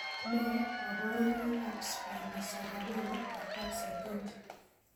Nee kabarunoikab Spinocerebellar ataxia 20?